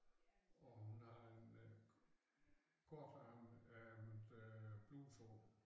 Og hun har en øh kortærmet ærmet øh bluse på